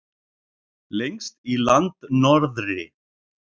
Lengst í landnorðri.